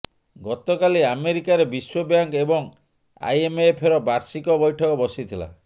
ଗତକାଲି ଆମେରିକାରେ ବିଶ୍ୱ ବ୍ୟାଙ୍କ ଏବଂ ଆଇଏମଏଫର ବାର୍ଷିକ ବୈଠକ ବସିଥିଲା